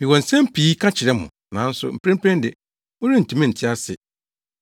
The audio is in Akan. “Mewɔ nsɛm pii ka kyerɛ mo, nanso mprempren de, morentumi nte ase.